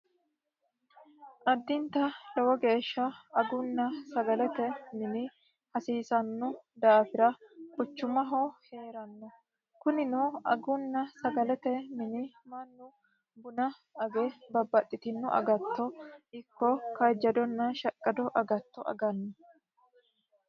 Adinta lowo geeshsha aguna sagalete mine hasiisano daafira kunino quchumaho heeranno kunino mannu buna age babbaxitino agatto kaajjadona shaqado agatto aganno.